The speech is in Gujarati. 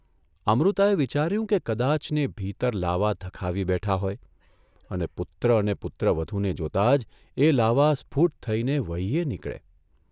અમૃતાએ વિચાર્યું કે કદાચને ભીતર લાવા ધખાવી બેઠા હોય અને પુત્ર અને પુત્રવધૂને જોતા જ એ લાવા સ્ફૂટ થઇને વહીયે નીકળે !